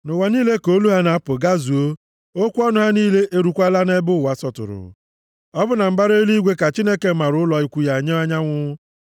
Nʼụwa niile ka olu ha na-apụ gazuo, okwu ọnụ ha niile erukwaala nʼebe ụwa sọtụrụ. Ọ bụ na mbara eluigwe ka Chineke maara ụlọ ikwu nye anyanwụ.